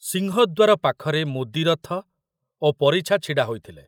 ସିଂହଦ୍ୱାର ପାଖରେ ମୁଦିରଥ ଓ ପରିଛା ଛିଡ଼ା ହୋଇଥିଲେ।